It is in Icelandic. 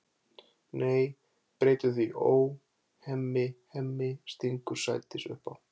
Nei, breytum því í Ó, Hemmi, Hemmi, stingur Sædís upp á.